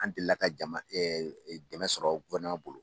An delila ka jama dɛmɛ sɔrɔ bolo.